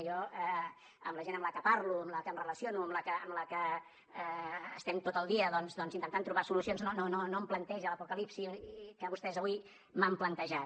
i jo la gent amb la que parlo amb la que em relaciono amb la que estem tot el dia doncs intentant trobar solucions no em planteja l’apocalipsi que vostès avui m’han plantejat